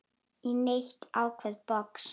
í neitt ákveðið box.